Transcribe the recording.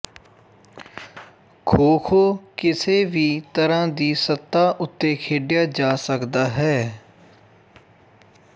ਖੋਖੋ ਕਿਸੇ ਵੀ ਤਰ੍ਹਾਂ ਦੀ ਸਤ੍ਹਾ ਉੱਤੇ ਖੇਡਿਆ ਜਾ ਸਕਦਾ ਹੈ